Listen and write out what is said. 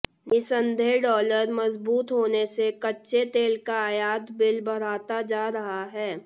निसंदेह डॉलर मजबूत होने से कच्चे तेल का आयात बिल बढ़ता जा रहा है